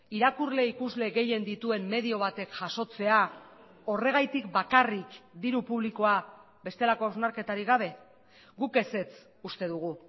irakurle ikusle gehien dituen medio batek jasotzea horregatik bakarrik diru publikoa bestelako hausnarketarik gabe guk ezetz uste dugu